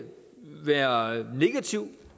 være negativ